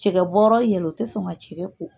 Cɛkɛ bɔra yen o tɛ sɔn ka cɛkɛ ko